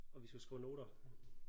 Og vi skulle skrive noter